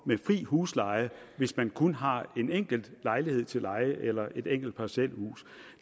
med fri husleje og hvis man kun har en enkelt lejlighed til leje eller et enkelt parcelhus